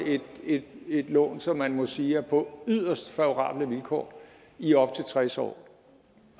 et lån som man må sige er på yderst favorable vilkår i op til tres år